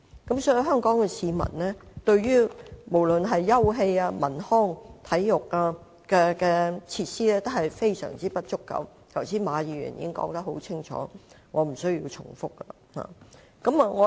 所以對於香港市民而言，休憩、文康、體育設施用地的確十分不足，剛才馬議員已說得很清楚，我不用重複。